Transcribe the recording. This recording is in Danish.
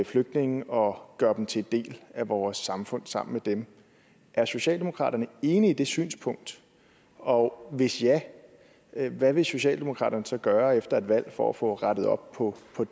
flygtninge og gøre dem til en del af vores samfund sammen med dem er socialdemokratiet enig i det synspunkt og hvis ja hvad vil socialdemokratiet så gøre efter et valg for at få rettet op på